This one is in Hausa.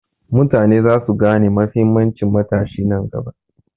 Mutane za su gane mahimmancin matashi nan gaba.